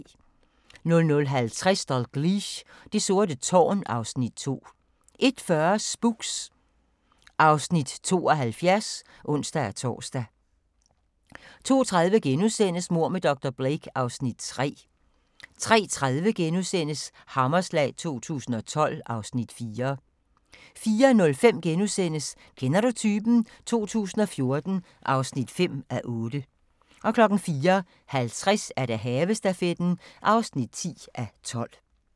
00:50: Dalgliesh: Det sorte tårn (Afs. 2) 01:40: Spooks (Afs. 72)(ons-tor) 02:30: Mord med dr. Blake (Afs. 3)* 03:30: Hammerslag 2012 (Afs. 4)* 04:05: Kender du typen? 2014 (5:8)* 04:50: Havestafetten (10:12)